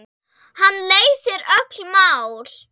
Hann leysir öll mál.